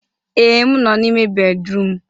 Ee, m nọ n'ime bédrụum.